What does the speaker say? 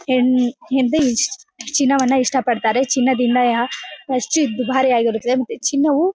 ಹೆಣ್ಣು ಚಿನ್ನವನ್ನ ಇಷ್ಟಪಡ್ತಾರೆ ಚಿನ್ನದಿಂದ ಖರ್ಚು ದುಬಾರಿ ಆಗಿರುತ್ತದೆ ಮತ್ತು ಚಿನ್ನವು --